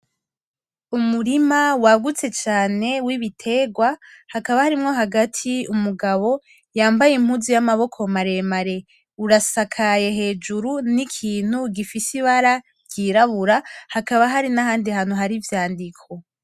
Umurima wagutse cane wibiterwa, hakaba harimwo hagati umugabo yambaye impuzu yamaboko maremare , urasakaye hejuru nikintu gifise ibara ryirabura hakaba hari nahandi hantu hari ivyandiko .